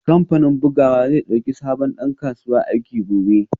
Kamfanin bugawa zai dauki sabon dan kasuwa aiki gobe